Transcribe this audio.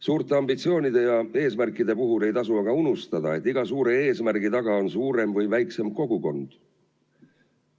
Suurte ambitsioonide ja eesmärkide puhul ei tohi aga unustada, et iga suure eesmärgi taga on suurem või väiksem kogukond.